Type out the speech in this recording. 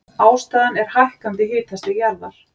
Ástæðan er hækkandi hitastig jarðar.